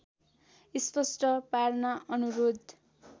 स्पष्ट पार्न अनुरोध